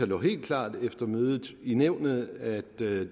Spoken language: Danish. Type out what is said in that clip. lå helt klart efter mødet i nævnet at det